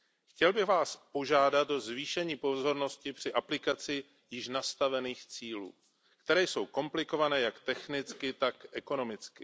Chtěl bych Vás požádat o zvýšení pozornosti při aplikaci již nastavených cílů které jsou komplikované jak technicky, tak ekonomicky.